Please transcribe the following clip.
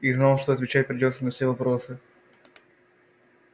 и знал что отвечать придётся на все вопросы